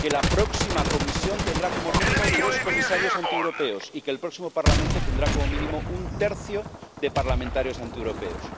que la próxima Comisión tendrá como mínimo tres comisarios antieuropeos y que el próximo Parlamento tendrá como mínimo un tercio de parlamentarios antieuropeos.